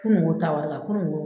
Kunu wo ta wari kan kunu wo